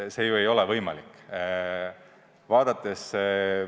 See ju ei ole võimalik!